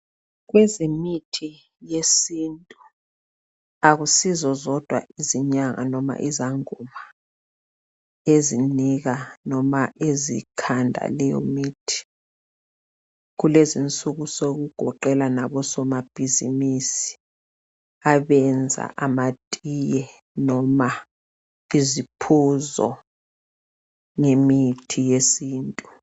Kwezemithi yesintu akusizozodwa izinyanga noma izangoma ezinika noma ezikhanda leyomithi kulezinsuku sokugoqela nabosoma bhizimisi abenza amatiye noma iziphuzo ngemithi yesintu.